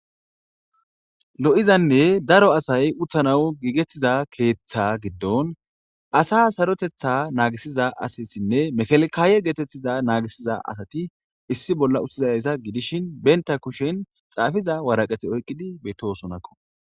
lo7izanne daro asay uthanawu giigettiza keeththa giddon asa sarotetha naagisiza asassinne mekalkaaye geetettiza naagisiza asati issi bolla uttizayayssa gidishin benta kushen xaafiza waraqeti oyqqidi betoosonakko